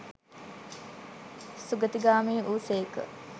සුගතිගාමි වූ සේක.